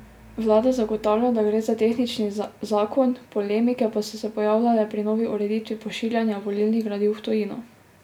Vlada zagotavlja, da gre za tehnični zakon, polemike pa so se pojavljale pri novi ureditvi pošiljanja volilnih gradiv v tujino.